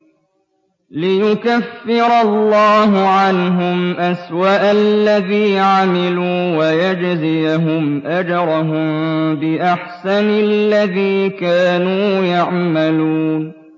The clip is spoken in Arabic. لِيُكَفِّرَ اللَّهُ عَنْهُمْ أَسْوَأَ الَّذِي عَمِلُوا وَيَجْزِيَهُمْ أَجْرَهُم بِأَحْسَنِ الَّذِي كَانُوا يَعْمَلُونَ